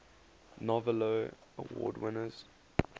novello award winners